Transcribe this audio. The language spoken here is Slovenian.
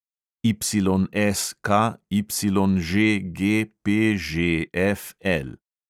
YSKYŽGPŽFL